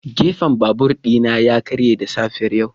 Gefen babur ɗina ya karye da safiyar yau.